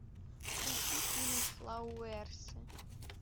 включи фильм флауэрсы